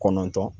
Kɔnɔntɔn